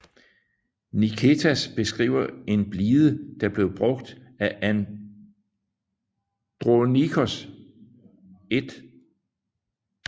Niketas beskriver en blide der blev brugt af Andronikos 1